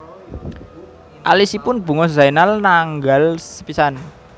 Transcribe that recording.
Alisipun Bunga Zainal nanggal sepisan